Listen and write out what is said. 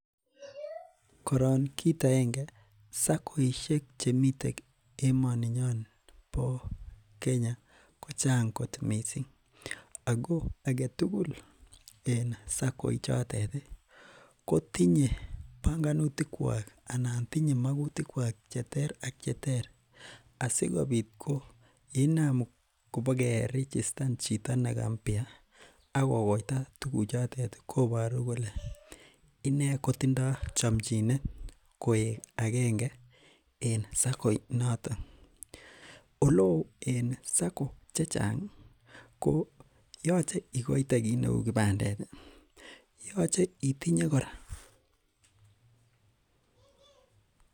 Koron kit aenge sakoisiek chemiten en emooni nyon bo Kenya ko chang kot missing. Agetugul en Sako ichotet ih , ko tinye banganutikuak anan tinye magutik kuak cheter ak cheter asikobit ko yeina kobakerichistan chito nega mbia akokoita tuguk chotet kobaru kole inee kotindo chamchinet koek agenge en sakoinato . Oleoo en Sako chechang ih koyache igoite kit neuu kipandet yoche itinye kora